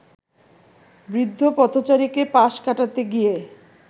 বৃদ্ধ পথচারীকে পাশ কাটাতে গিয়ে